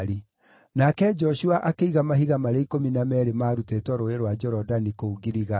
Nake Joshua akĩiga mahiga marĩa ikũmi na meerĩ maarutĩtwo Rũũĩ rwa Jorodani kũu Giligali.